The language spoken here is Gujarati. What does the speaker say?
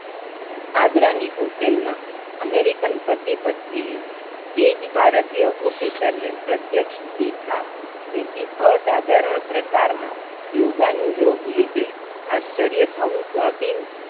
આગ્રા ની હોટલ મા અમેરીકન પતિ-પત્ની એ જ ભારતીય officer ને પ્રત્યક્ષ દીઠા તેથી અસાધારણ પ્રકારના યોગા નું યોગ લીધે આશ્ચર્ય થવું સ્વાભિ